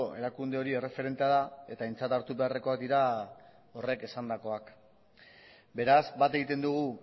erakunde hori erreferentea da eta aintzat hartu beharrekoak dira horrek esandakoak beraz bat egiten dugu